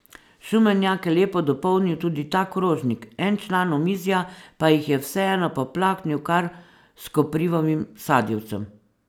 Šumenjak je lepo dopolnil tudi ta krožnik, en član omizja pa jih je vseeno poplaknil kar s koprivovim sadjevcem.